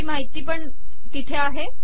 ही माहिती पण तेथे आहे